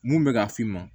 Mun bɛ ka f'i ma